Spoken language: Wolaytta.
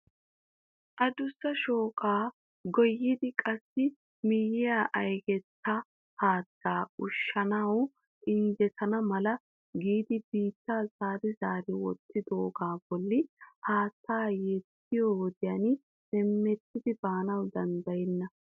Addussa shooqa goyyidi qassi miyya aygeta haatta ushsjanaw injjetana mala giidi biitta zeeri zeeri wottidoogaa bolli haatta yediyoo wodiyan memttidi baanaw danddayena.